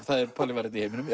það er Palli var einn í heiminum